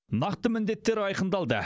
нақты міндеттер айқындалды